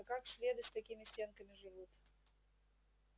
а как шведы с такими стенками живут